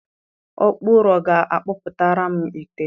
Ọkpụ ụrọ ga-akpụtara m ite ọzọ.